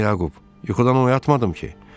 Salam Yaqub, yuxudan oyatmadım ki.